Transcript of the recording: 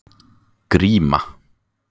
Gríma